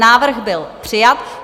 Návrh byl přijat.